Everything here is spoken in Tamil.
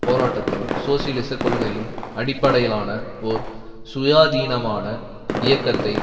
போராட்டத்தில் சோசியலிச கொள்கையின் அடிப்படையிலான ஒரு சுயாதீனமான இயக்கத்தை